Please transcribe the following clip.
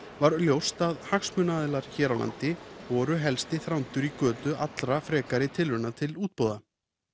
var ljóst að hagsmunaaðilar hér á landi voru helsti Þrándur í götu allra frekari tilrauna til útboða